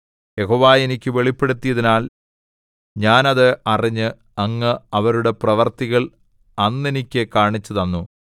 യഹോവ എനിക്ക് വെളിപ്പെടുത്തിയതിനാൽ ഞാൻ അത് അറിഞ്ഞ് അങ്ങ് അവരുടെ പ്രവൃത്തികൾ അന്നെനിക്കു കാണിച്ചുതന്നു